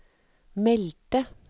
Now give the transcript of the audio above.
meldte